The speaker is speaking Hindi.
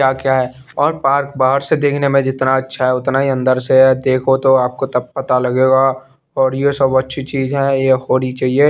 या क्या है और पार्क बहार से देखने में जितना अच्छा है उतना अन्दर से है देखो तो आपको तब पता लगेगा और ये सब अच्छी चीजे है ये होनी चाहिए।